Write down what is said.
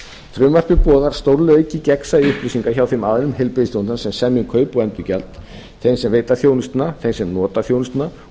frumvarpið boðar stórlega aukið gegnsæi upplýsinga hjá þeim aðilum heilbrigðisþjónustunnar sem semja um kaup og endurgjald þeim sem veita þjónustuna þeim sem nota þjónustuna og